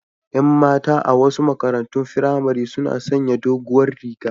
Yan mata a wasu makarantun firamare suna sanya doguwar riga